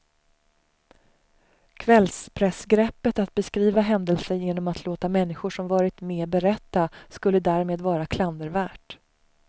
Kvällspressgreppet att beskriva händelser genom att låta människor som varit med berätta skulle därmed vara klandervärt.